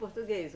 Português.